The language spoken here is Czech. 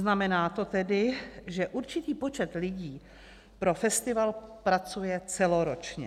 Znamená to tedy, že určitý počet lidí pro festival pracuje celoročně.